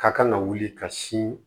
Ka kan ka wuli ka si